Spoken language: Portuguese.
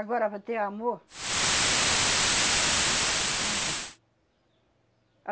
Agora, vai ter amor, não tem.